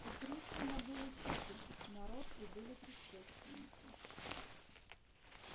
у пришвина был учитель народ и были предшественники